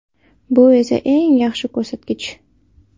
Bu esa eng yaxshi ko‘rsatkich.